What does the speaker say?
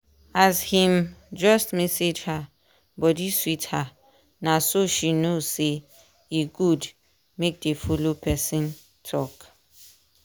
as him just message her body sweet her na so she know say e good make dey follow person talk